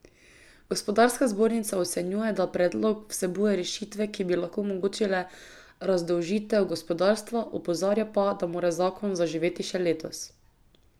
Gospodarska zbornica ocenjuje, da predlog vsebuje rešitve, ki bi lahko omogočile razdolžitev gospodarstva, opozarja pa, da mora zakon zaživeti še letos.